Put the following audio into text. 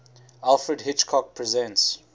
alfred hitchcock presents